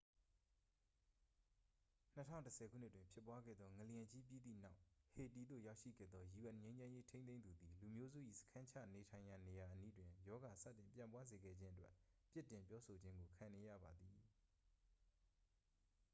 2010 ခုနှစ်တွင်ဖြစ်ပွားခဲ့သော ငလျင်ကြီးပြီးသည့်နောက် ဟေတီသို့ရောက်ရှိခဲ့သော un ငြိမ်းချမ်းရေးထိန်းသိမ်းသူသည် လူမျိုးစု၏စခန်းချနေထိုင်ရာနေရာအနီးတွင် ရောဂါစတင်ပျံ့ပွားစေခဲ့ခြင်းအတွက် ပြစ်တင်ပြောဆိုခြင်းကိုခံနေရပါသည်